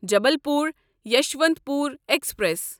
Jabalpur Yesvantpur express